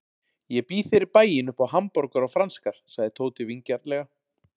Ég býð þér í bæinn upp á hamborgara og franskar sagði Tóti vingjarnlega.